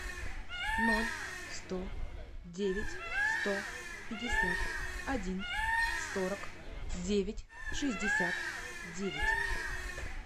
ноль сто девять сто пятьдесят один сорок девять шестьдесят девять